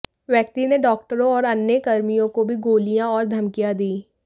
व्यक्ति ने डॉक्टरों और अन्य कर्मियों को भी गालियां और धमकियां दी